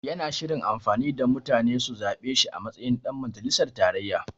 Yana shirin amfani da mutane su zaɓe shi a matsayin ɗan majalisar tarayya.